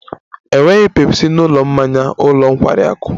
Enweghị Pepsi na ụlọ mmanya ụlọ nkwari akụ